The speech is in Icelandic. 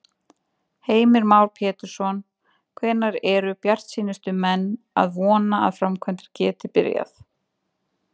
Heimir Már Pétursson: Hvenær eru bjartsýnustu menn að vona að framkvæmdir geti byrjað?